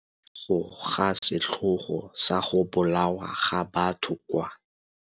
Morago ga setlhogo sa go bolawa ga batho kwa.